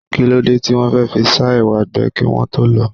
Kí ló dé tí wọn fẹ́ fi sá ẹwà gbẹ kí wọ́n tó lọ̀ ọ́?